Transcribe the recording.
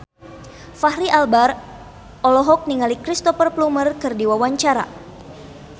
Fachri Albar olohok ningali Cristhoper Plumer keur diwawancara